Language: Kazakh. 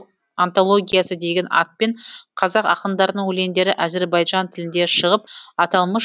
антологиясы деген атпен қазақ ақындарының өлеңдері әзірбайжан тілінде шығып аталмыш